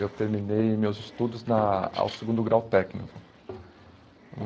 Eu terminei meus estudos na ao segundo grau técnico.